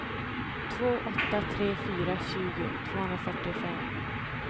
två åtta tre fyra tjugo tvåhundrafyrtiofem